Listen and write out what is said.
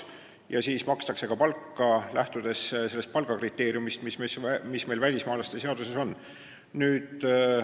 Ja siis makstakse ka palka, lähtudes nendest palgakriteeriumidest, mis meil välismaalaste seaduses on.